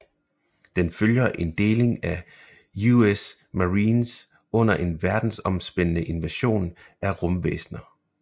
Den følger en deling af US Marines under en verdensomspændende invasion af rumvæsner